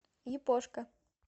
япошка